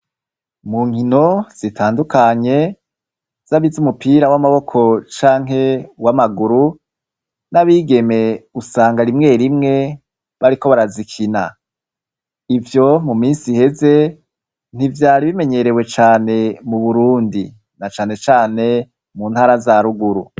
mu nkino zitandukanye z'abize umupira w'amaboko canke w'amaguru n'abigeme usanga rimwe rimwe bariko barazikina ivyo mu minsi iheze ntivyari bimenyerewe cane mu Burundi na cane cane mu ntara za ruguru.